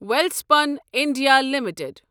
Welspun India limited